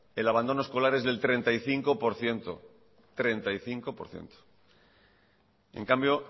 el abandono escolar es del treinta y cinco por ciento treinta y cinco por ciento en cambio